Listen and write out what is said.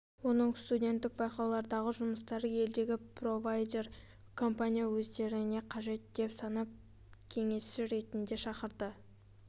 оның студенттік байқаулардағы жұмыстары елдегі провайдер компания өздеріне қажет деп санап кеесші ретінде шақырды